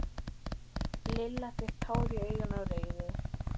Lilla fékk tár í augun af reiði.